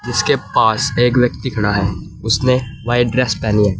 इसके पास एक व्यक्ति खड़ा है उसने व्हाइट ड्रेस पहनी है।